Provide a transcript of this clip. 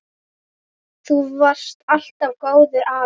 Þú varst alltaf góður afi.